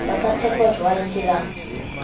ba ka tsheptjwang ke ba